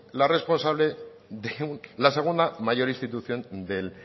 la responsable de la segunda mayor institución del